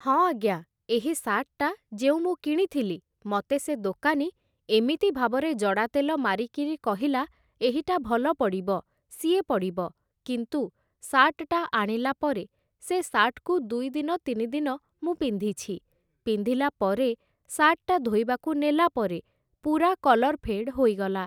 ହଁ ଆଜ୍ଞା, ଏହି ଶାର୍ଟଟା ଯେଉଁ ମୁଁ କିଣିଥିଲି, ମତେ ସେ ଦୋକାନୀ ଏମିତି ଭାବରେ ଜଡ଼ା ତେଲ ମାରିକିରି କହିଲା, ଏହିଟା ଭଲ ପଡ଼ିବ, ସିଏ ପଡ଼ିବ କିନ୍ତୁ ଶାର୍ଟଟା ଆଣିଲା ପରେ, ସେ ଶାର୍ଟକୁ ଦୁଇଦିନ ତିନିଦିନ ମୁଁ ପିନ୍ଧିଛି, ପିନ୍ଧିଲା ପରେ ଶାର୍ଟଟା ଧୋଇବାକୁ ନେଲା ପରେ ପୁରା କଲର୍ ଫେଡ଼୍ ହୋଇଗଲା ।